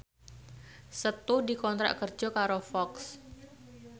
Setu dikontrak kerja karo Fox